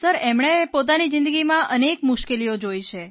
એમણે પોતાની જીંદગીમાં અનેક મુશ્કેલીઓ જોઇ છે